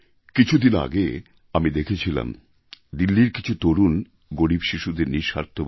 কিছুদিন আগে আমি দেখছিলাম দিল্লির কিছু তরুণ গরীব শিশুদের নিঃস্বার্থ ভাবে